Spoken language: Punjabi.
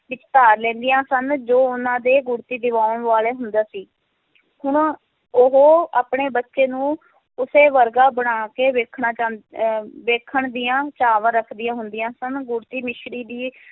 ਵਿੱਚ ਧਾਰ ਲੈਂਦੀਆਂ ਹਨ, ਜੋ ਉਹਨਾਂ ਦੇ ਗੁੜਤੀ ਦਿਵਾਉਣ ਵਾਲਾ ਹੁੰਦਾ ਸੀ ਹੁਣ ਉਹ ਆਪਣੇ ਬੱਚੇ ਨੂੰ ਉਸੇ ਵਰਗਾ ਬਣਾ ਕੇ ਵੇਖਣਾ ਚਾਹ~ ਅਹ ਵੇਖਣ ਦੀਆਂ ਚਾਵਾਂ ਰੱਖਦੀਆਂ ਹੁੰਦੀਆਂ ਸਨ, ਗੁੜਤੀ ਮਿਸਰੀ ਦੀ